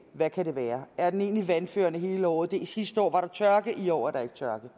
hvad kan det være er den egentlig vandførende hele året sidste år var der tørke i år er der ikke tørke